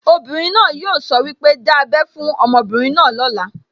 Obìnrin náà yóò sọ wípé, 'Dá ábẹ́ fún ọmọbìnrin náà lóla'